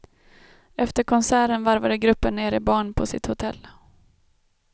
Efter konserten varvade gruppen ner i barn på sitt hotell.